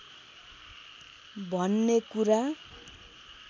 भन्ने कुरा